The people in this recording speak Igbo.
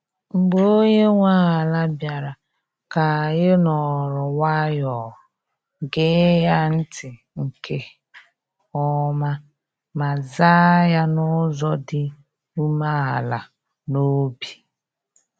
Mgbe onye nwe ala bịara, ka anyị nọrọ nwayọọ, gee ya ntị nke ọma, ma zaa ya n’ụzọ dị umeala n’obi.